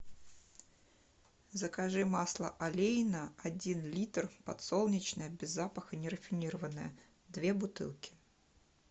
закажи масло олейна один литр подсолнечное без запаха нерафинированное две бутылки